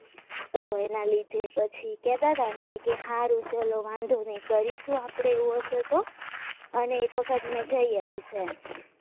એના લીધે પછી કહેતા હતા કે હારુ ચલો વાંધો નહીં પછી કરીશું આપણે એવું હશે તો અને એક વખત જઈ આવીશ